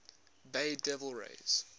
bay devil rays